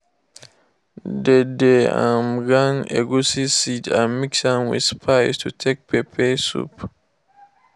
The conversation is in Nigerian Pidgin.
dem dey um grind egusi seed and mix am with spice to take pepper soup.